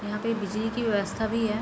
यहां पे बिजली की व्यवस्था भी है।